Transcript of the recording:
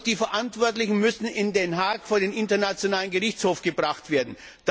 Die Verantwortlichen müssen in Den Haag vor den Internationalen Strafgerichtshof gebracht werden.